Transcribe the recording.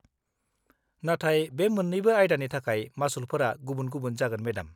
नाथाय बे मोन्नैबो आयदानि थाखाय मासुलफोरा गुबुन-गुबुन जागोन, मेडाम।